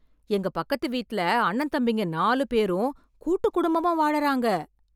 எங்க பக்கத்து வீட்ல அண்ணன் தம்பிங்க நாலு பேரும் கூட்டு குடும்பமா வாழறாங்க